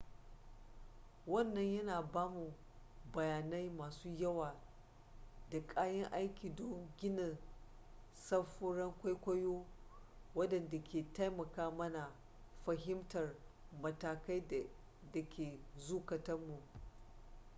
wannan yana ba mu bayanai masu yawa da kayan aiki don gina samfuran kwaikwayo waɗanda ke taimaka mana fahimtar matakai da ke zukatun mu